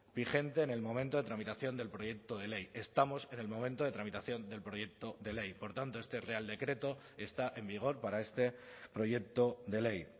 vigente en el momento de tramitación del proyecto de ley estamos en el momento de tramitación del proyecto de ley por tanto este real decreto está en vigor para este proyecto de ley